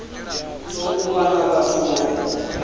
tou vha na vhathu vho